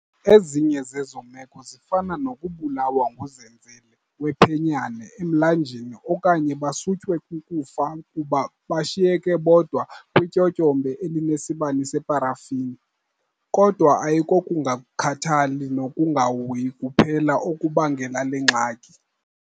Ezinye zezo meko zifana nokubulawa nguzenzele wephenyane emlanjeni okanye basutywe kukufa kuba bashiyeke bodwa kwityotyombe elinesibane separafini. Kodwa ayikokungakhathali nokungahoyi kuphela okubangela le ngxaki.